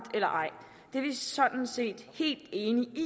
eller ej det er vi sådan set helt enige i